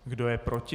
Kdo je proti?